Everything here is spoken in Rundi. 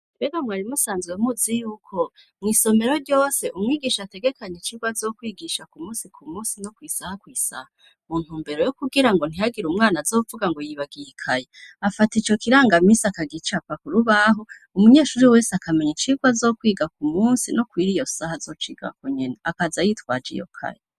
Mbega mwari musanzwe muzi yuko mw'isomero ryose umwigisha ategekanye icirwa azokwigisha ku musi ku musi no kw'isaha kw'isaha muntu mbere yo kugira ngo ntihagira umwana azovuga ngo yibagikaye afata ico kirangamisi akagicapa ku rubahu umunyeshuri wese akamenya icirwa azo kwiga ku musi no kw'iri yo saha azocigako nyena akaza ya swaja iyokayl.